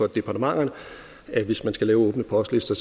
departementerne at hvis man skal lave åbne postlister